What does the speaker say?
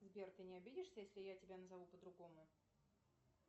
сбер ты не обидишься если я тебя назову по другому